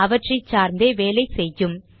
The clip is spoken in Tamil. அவற்றை சார்ந்தே வேலை செய்யும்